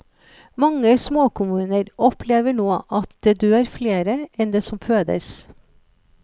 Mange småkommuner opplever nå at det dør flere enn det som fødes.